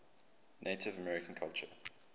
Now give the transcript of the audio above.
native american culture